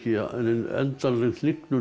endanleg hnignun á